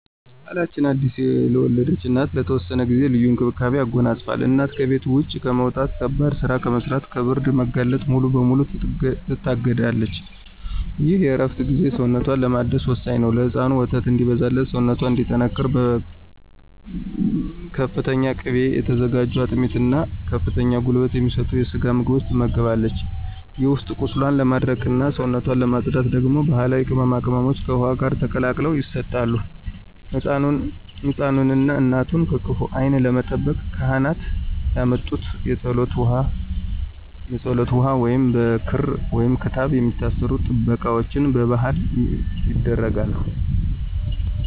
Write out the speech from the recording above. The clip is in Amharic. ባሕላችን አዲስ ለወለደች እናት ለተወሰነ ጊዜ ልዩ እንክብካቤን ያጎናጽፋል። እናት ከቤት ውጭ ከመውጣት፣ ከባድ ሥራ ከመሥራትና ከብርድ መጋለጥ ሙሉ በሙሉ ትታገዳለች። ይህ የእረፍት ጊዜ ሰውነቷን ለማደስ ወሳኝ ነው። ለሕፃኑ ወተት እንዲበዛላትና ሰውነቷ እንዲጠናከር በፍተኛ ቅቤ የተዘጋጁ አጥሚት እና ከፍተኛ ጉልበት የሚሰጡ የስጋ ምግቦች ትመገባለች። የውስጥ ቁስሏን ለማድረቅና ሰውነቷን ለማፅዳት ደግሞ ባሕላዊ ቅመማ ቅመሞች ከውኃ ጋር ተቀላቅለው ይሰጣሉ። ሕፃኑንና እናቱን ከክፉ ዓይን ለመጠበቅ ካህናት ያመጡት የፀሎት ውኃ ወይንም በክር/ክታብ የሚታሰሩ ጥበቃዎች በባሕል ይደረጋሉ።